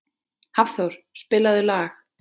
Hafþór, spilaðu lag.